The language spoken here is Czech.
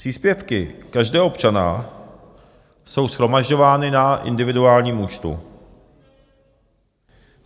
Příspěvky každého občana jsou shromažďovány na individuálním účtu.